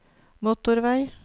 motorvei